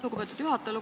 Lugupeetud juhataja!